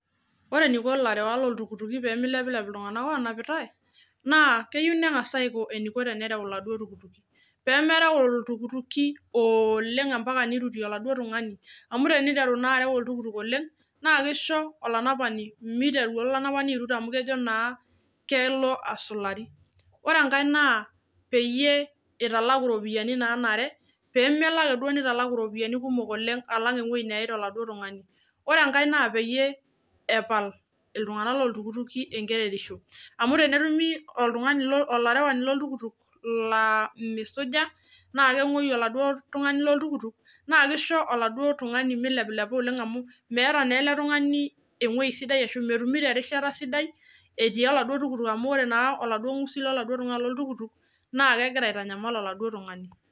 Ore eneiko iltunganak loo iltukituki pemeileplep iltunganak loonapitae, naa keyeu nenas aiko eneiko tenereu eladuo iltukituki pemeerau iltukituki oleng impaka neirutie eladuo tungani, amu teneitaru naa areu iltuktuk oleng naa keisho olonapani meiteru olanapani airit amu kejo naa kelo asulari, ore enkae naa peyie eitalak iropiyiani naanare, peemelo ake duo neitalak iropiyiani kumok oleng alang eweji nayeita eladuo tungani, ore enkae naa peyie epal iltunganak loo iltukituki enkerereisho, amu tenetumi oltungani lo olerawuani loo iltuktuk laa meisuja, naa kemoi eladuo tungani lo oltuktuk, naa keisho eladuo tungani meileplepa oleng amu, meata na ale tungani engoji sidai ashu metumuto erishata sidai etii eladuo tuktuk amu, ore naa eladuo usi le eladuo iltuktuk naa kegira aitanyamal oladuo tungani.